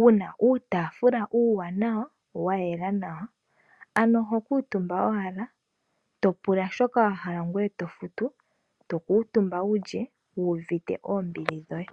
wuna uutagula uuwanawa wa yela nawa. Ano oho kuutumba owala to pula shoka wa hala ngoye to futu, to kuutumba wu lye wu uvite oombili dhoye.